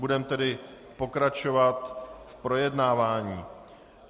Budeme tedy pokračovat v projednávání.